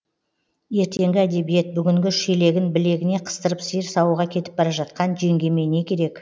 ертеңгі әдебиет бүгінгі шелегін білегіне қыстырып сиыр саууға кетіп бара жатқан жеңгеме не керек